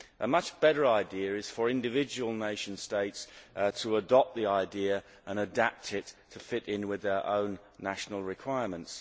A much better idea is for individual nation states to adopt the idea and adapt it to fit in with their own national requirements.